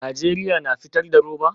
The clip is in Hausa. Najeriya na fitar da roba?